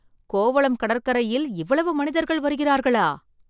கோவளம் கடற்கரையில் இவ்வளவு மனிதர்கள் வருகிறார்களா!